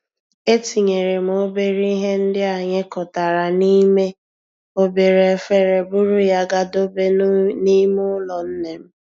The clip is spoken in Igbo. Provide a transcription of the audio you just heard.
E tinyere m obere ihe ndị anyị kụtara n'ime obere efere buru ya gaa dobe n'ime ụlọ nne m.